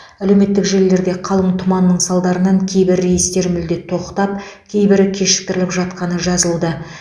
әлеуметтік желілерде қалың тұманның салдарынан кейбір рейстер мүлде тоқтап кейбірі кешіктіріліп жатқаны жазылуда